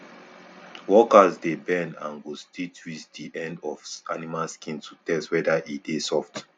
workers dey bend and go still twist di end of animal skin to test whether e dey soft